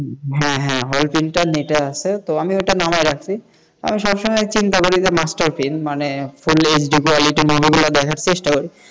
হ্যাঁ হ্যাঁ hall print নেটে আছে আমি নামায়া রাখছি আমি সবসময় চেষ্টা করি master print মানে full hq quality দেখার চেষ্টা করি,